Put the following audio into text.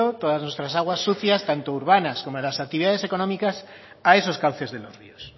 todas nuestras aguas sucias tanto urbanas como de las actividades económicas a esos cauces de los ríos